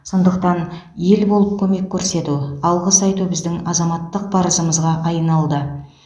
сондықтан ел болып көмек көрсету алғыс айту біздің азаматтық парызымызға айналды